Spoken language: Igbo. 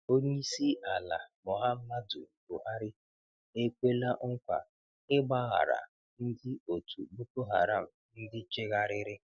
Onyeisi ala Muhammadu Buhari ekwela nkwa ị̀gbaghara ndị òtù Boko Haram ndị chegharịrị.